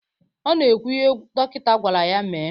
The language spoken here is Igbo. Ọ na-ekwu ihe dọkịta gwara ya mee.